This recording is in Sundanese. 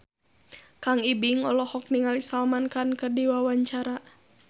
Kang Ibing olohok ningali Salman Khan keur diwawancara